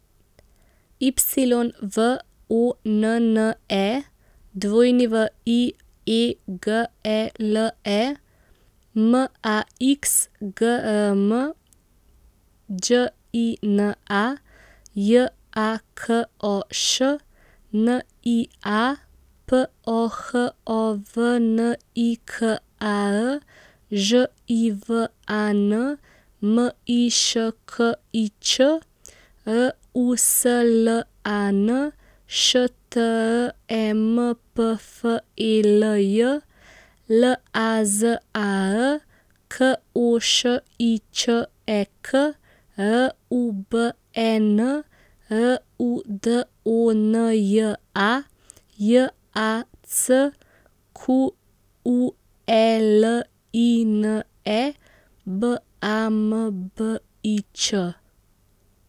Y V O N N E, W I E G E L E; M A X, G R M; Đ I N A, J A K O Š; N I A, P O H O V N I K A R; Ž I V A N, M I Š K I Ć; R U S L A N, Š T R E M P F E L J; L A Z A R, K O Š I Č E K; R U B E N, R U D O N J A; J A C Q U E L I N E, B A M B I Č.